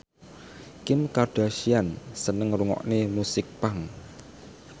Kim Kardashian seneng ngrungokne musik punk